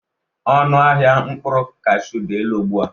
Ọnụ ahịa mkpụrụ kashụ dị elu ugbu a.